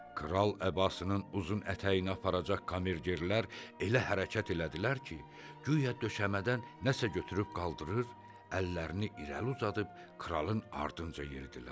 Kral əbasının uzun ətəyini aparacaq kamergerlər elə hərəkət elədilər ki, guya döşəmədən nəsə götürüb qaldırır, əllərini irəli uzadıb kralın ardınca yeridilər.